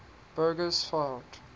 bugersfort